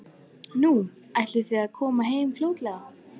Nú, ætlið þið að koma heim fljótlega?